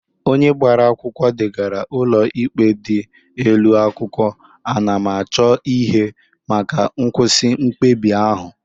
Onye gbara akwụkwọ degara ụlọ ikpe dị elu akwụkwọ anamachọihe maka nkwụsị mkpebi ahụ